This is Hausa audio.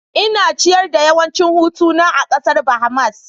Ina ciyar da yawancin hutuna a kasar Bahamas